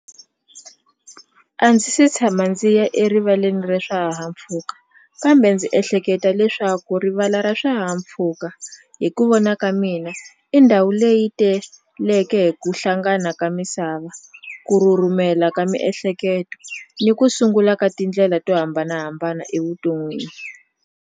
A ndzi se tshama ndzi ya erivaleni ra swihahampfhuka kambe ndzi ehleketa leswaku rivala ra swihahampfuka hi ku vona ka mina i ndhawu leyi teleke hi ku hlangana ka misava ku rhurhumela ka miehleketo ni ku sungula ka tindlela to hambanahambana evuton'wini.